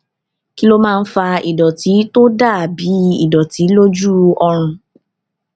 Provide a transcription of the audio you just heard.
kí ló máa ń fa ìdòtí tó dà bí ìdòtí lójú ọrùn